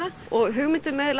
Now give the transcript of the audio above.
og hugmyndin með